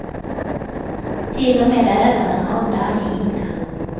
Till och med ögonen har en dammig hinna.